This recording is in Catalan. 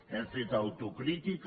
hem fet autocrítica